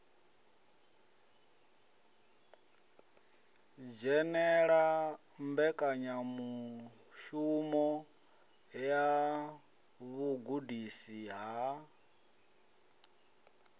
dzhenela mbekanyamushumo ya vhugudisi ha